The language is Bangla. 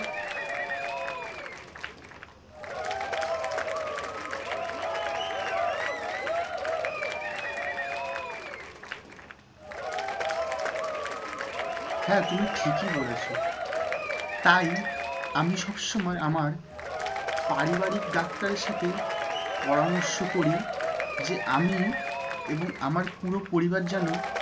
হ্যাঁ তুমি ঠিক বলেছ তাই আমি সব সময় আমার পারিবারিক ডাক্তার এর সাথে পরামর্শ করি যে আমি এবং আমার পুরো পরিবার যেন